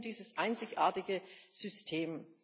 Es geht um dieses einzigartige System.